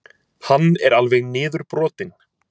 Hann er alveg niðurbrotinn.